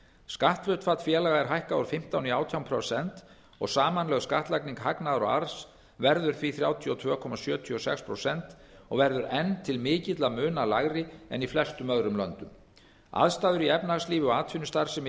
skatthlutfall félaga er hækkað úr fimmtán prósent í átján prósent og samanlögð skattlagning hagnaðar og arðs verður því þrjátíu og tvö komma sjötíu og sex prósent og verður enn til mikilla muna lægra en í flestum öðrum löndum aðstæður í efnahagslífi og atvinnustarfsemi